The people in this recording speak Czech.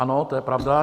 Ano, to je pravda.